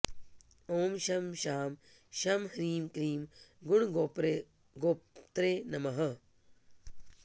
ॐ शं शां षं ह्रीं क्लीं गुणगोप्त्रे नमः